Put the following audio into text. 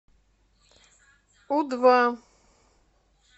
у два